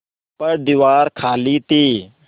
पर दीवार खाली थी